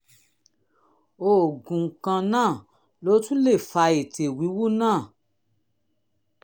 oògùn kan náà ló tún lè fa ètè wíwú náà